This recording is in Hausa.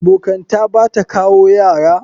Abokanta Bata kawo Yara.